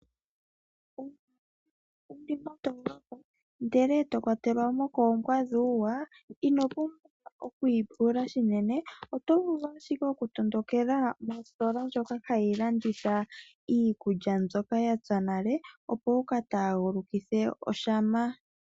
Uuna wuli mondoolopa ndele eto kwatelwamo koombwa dhuuwa, ino pumbwa oku ipula shinene, oto vulu ashike oku tondoleka mositola ndjoka hayi landitha iikulya mbyoka yapya nale , opo wuka taagulukithe oshama.